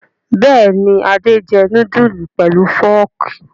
Bẹ́ẹ̀ ni, Adé jẹ núdúlù pẹ̀lú fọ́ọ́kì.